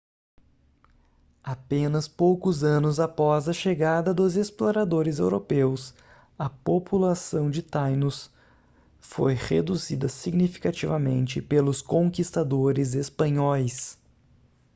apenas poucos anos após a chegada dos exploradores europeus a população de tainos foi reduzida significativamente pelos conquistadores espanhóis